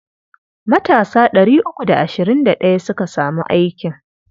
Matasa ɗari uku da ashirin da ɗaya suka samu aikin.